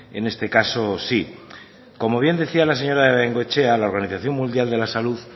en este caso sí como bien decía la señora bengoechea la organización mundial de la salud